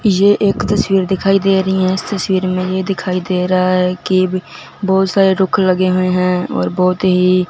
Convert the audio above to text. ये एक तस्वीर दिखाई दे रही हैं इस तस्वीर में ये दिखाई दे रहा है कि बहुत सारे रुख लगे हुए हैं और बहुत ही--